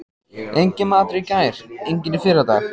Enginn matur í gær, enginn í fyrradag.